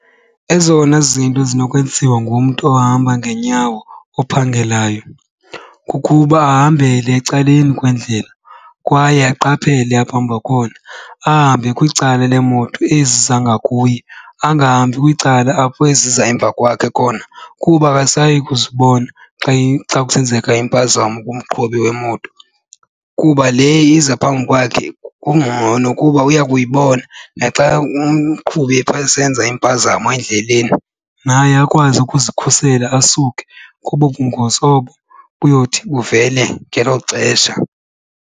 Ezona zinto ezinokwenziwa ngumntu ohamba ngeenyawo ophangelayo kukuba ahambele ecaleni kwendlela kwaye aqaphele apha ahamba khona. Ahambe kwicala leemoto ezi ziza ngakuye, angahambi kwicala apho eziza emva kwakhe khona kuba akasayi kuzibona xa kusenzeka impazamo kumqhubi wemoto. Kuba le iza phambi kwakhe kungcono kuba uya kuyibona naxa umqhubi phaa esenza impazamo endleleni, naye akwazi ukuzikhusela asuke kobo bungozi obo buyothi buvele ngelo xesha.